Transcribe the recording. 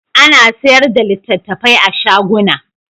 A na sayarda da littattafai a shaguna